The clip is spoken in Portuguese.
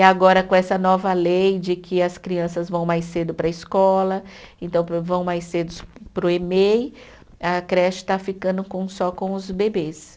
E agora com essa nova lei de que as crianças vão mais cedo para a escola, então vão mais cedo para o Emei, a creche está ficando com só com os bebês.